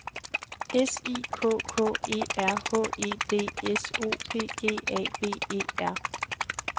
S I K K E R H E D S O P G A V E R